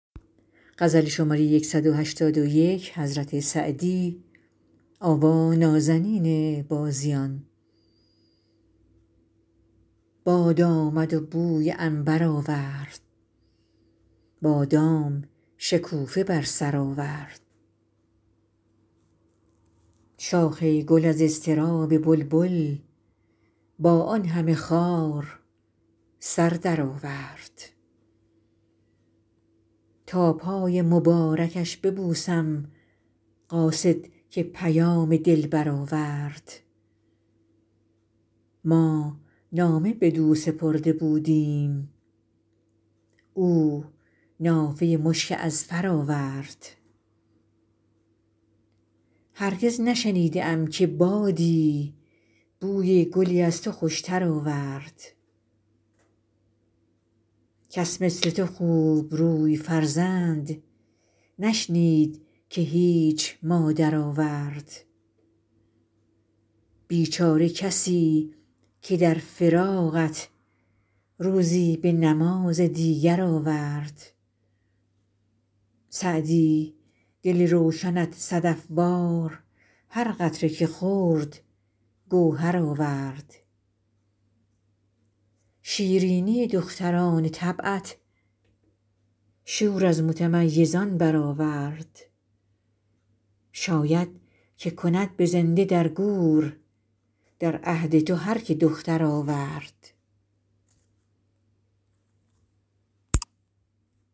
باد آمد و بوی عنبر آورد بادام شکوفه بر سر آورد شاخ گل از اضطراب بلبل با آن همه خار سر درآورد تا پای مبارکش ببوسم قاصد که پیام دلبر آورد ما نامه بدو سپرده بودیم او نافه مشک اذفر آورد هرگز نشنیده ام که بادی بوی گلی از تو خوشتر آورد کس مثل تو خوبروی فرزند نشنید که هیچ مادر آورد بیچاره کسی که در فراقت روزی به نماز دیگر آورد سعدی دل روشنت صدف وار هر قطره که خورد گوهر آورد شیرینی دختران طبعت شور از متمیزان برآورد شاید که کند به زنده در گور در عهد تو هر که دختر آورد